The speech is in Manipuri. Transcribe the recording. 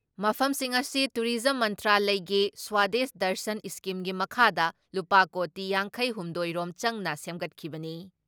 ꯃꯐꯝꯁꯤꯡ ꯑꯁꯤ ꯇꯨꯔꯤꯖꯝ ꯃꯟꯇ꯭ꯔꯂꯌꯒꯤ ꯁ꯭ꯋꯥꯗꯦꯁ ꯗꯔꯁꯟ ꯏꯁꯀꯤꯝꯒꯤ ꯃꯈꯥꯗ ꯂꯨꯄꯥ ꯀꯣꯇꯤ ꯌꯥꯡꯈꯩ ꯍꯨꯝꯗꯣꯏ ꯔꯣꯝ ꯆꯪꯅ ꯁꯦꯝꯒꯠꯈꯤꯕꯅꯤ ꯫